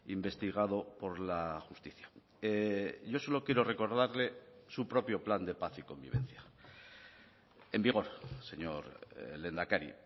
investigado por la justicia yo solo quiero recordarle su propio plan de paz y convivencia en vigor señor lehendakari